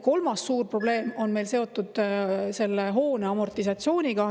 Kolmas suur probleem on seotud selle hoone amortisatsiooniga.